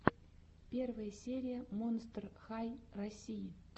первая серия монстр хай россии